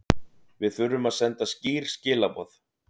Við þurfum að senda skýr skilaboð